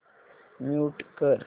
mute कर